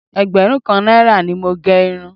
Ẹgbẹ̀rún kan náírà ni mo gẹ irun